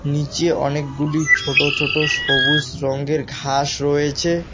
নীচে অনেকগুলি ছোট ছোট সবুজ রঙ্গের ঘাস রয়েছে।